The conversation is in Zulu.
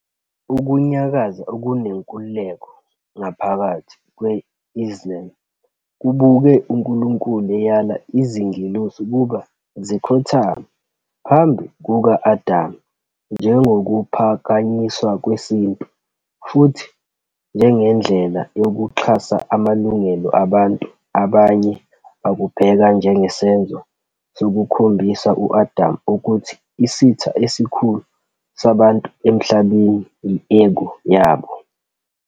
"Ukunyakaza okunenkululeko ngaphakathi kwe-Islam kubuke uNkulunkulu eyala izingelosi ukuba zikhothame phambi kuka-Adam njengokuphakanyiswa kwesintu, futhi njengendlela yokuxhasa amalungelo abantu, abanye bakubheka njengesenzo sokukhombisa u-Adam ukuthi isitha esikhulu sabantu emhlabeni kuzoba yi-ego yabo.